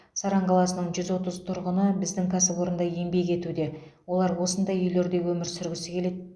саран қаласының жүз отыз тұрғыны біздің кәсіпорында еңбек етуде олар осындай үйлерде өмір сүргісі келеді